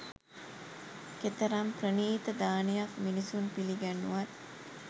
කෙතරම් ප්‍රණීත දානයක් මිනිසුන් පිළිගැන්වූවත්